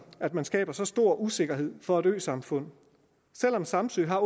at man skaber så stor usikkerhed for et øsamfund selv om samsø har